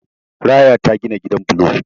Raya ta gina gidan bulo